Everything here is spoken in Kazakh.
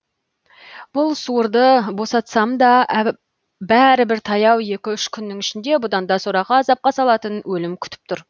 бұл суырды босатсамда бәрібір таяу екі үш күннің ішінде бұданда сорақы азапқа салатын өлім күтіп тұр